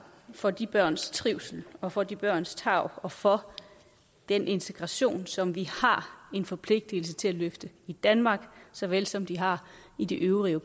for de børns trivsel og for de børns tarv og for den integration som vi har en forpligtelse til at løfte i danmark så vel som de har i de øvrige